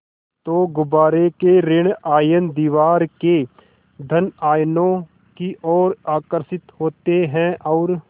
तो गुब्बारे के ॠण आयन दीवार के धन आयनों की ओर आकर्षित होते हैं और